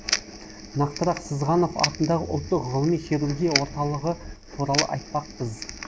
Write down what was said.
нақтырақ сызғанов атындағы ұлттық ғылыми хирургия орталығы туралы айтпақпыз